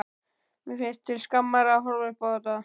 Mér finnst til skammar að horfa upp á þetta.